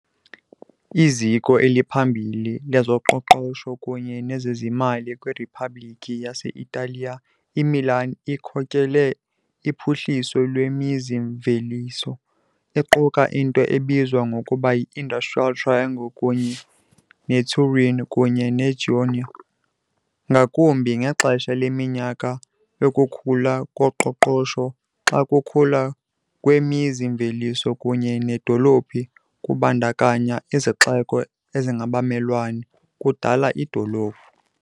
Iziko eliphambili lezoqoqosho kunye nezezimali kwiRiphabhlikhi yase-Italiya, iMilan ikhokele uphuhliso lwemizi-mveliso, iquka into ebizwa ngokuba yi- Industrial Triangle kunye neTurin kunye neGenoa, ngakumbi ngexesha leminyaka yokukhula koqoqosho, xa ukukhula kwemizi-mveliso kunye needolophu kubandakanya izixeko ezingabamelwane, kudala idolophu.